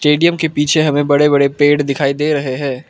Stadium के पीछे हमें बड़े बड़े पेड़ दिखाई दे रहे हैं।